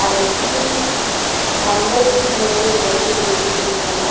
அதன் கீழ் மஞ்சள் நிற லைட்டுகள் ஏரிகின்றன.